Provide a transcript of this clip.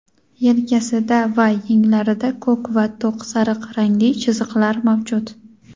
yelkasida va yenglarida ko‘k va to‘q sariq rangli chiziqlar mavjud.